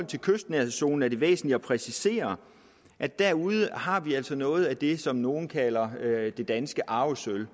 til kystnærhedszonen er det væsentligt at præcisere at derude har vi altså noget af det som nogle kalder det danske arvesølv